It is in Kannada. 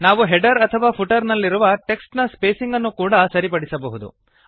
ನಾವು ಹೆಡರ್ ಅಥವಾ ಫುಟರ್ ನಲ್ಲಿರುವ ಟೆಕ್ಸ್ಟ್ ನ ಸ್ಪೇಸಿಂಗ್ ಅನ್ನು ಕೂಡಾ ಸರಿಪಡಿಸಬಹುದು